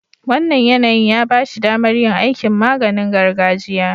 Wannan yanayin ya ba shi damar yin aikin maganing gargajiya.